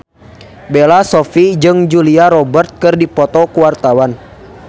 Bella Shofie jeung Julia Robert keur dipoto ku wartawan